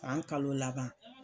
San kalo laban.